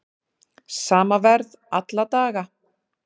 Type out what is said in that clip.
Sama verð alla daga